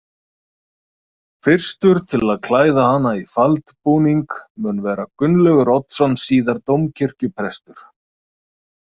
Fyrstur til að klæða hana í faldbúning mun vera Gunnlaugur Oddsson síðar dómkirkjuprestur.